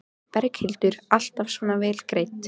Berghildur: Alltaf svona vel greidd?